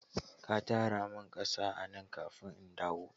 Ka tara min ƙasan a nan kafin in dawo.